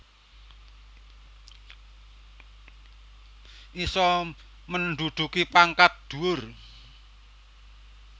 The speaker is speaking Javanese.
Iso menduduki pangkat dhuwur